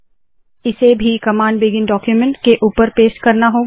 इसे भी command begin document के ऊपर पेस्ट करना होगा